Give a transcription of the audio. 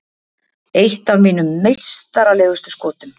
Eitt af mínum meistaralegustu skotum.